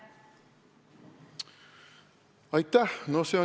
Aitäh!